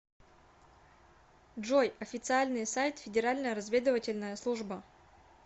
джой официальный сайт федеральная разведывательная служба